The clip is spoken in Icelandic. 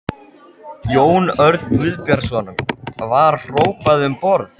Jón Örn Guðbjartsson: Var hrópað um borð?